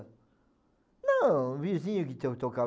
Não, o vizinho que tinha tocava.